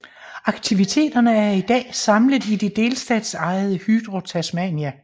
Aktiviteterne er i dag samlet i det delstatsejede Hydro Tasmania